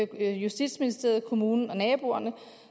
justitsministeriet kommunen og naboerne